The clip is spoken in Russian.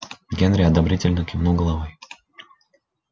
генри одобрительно кивнул головой